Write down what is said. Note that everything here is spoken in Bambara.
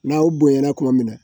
N'aw bonyana tuma min na